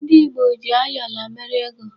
Ndị Ìgbo ji ayọla mere ego.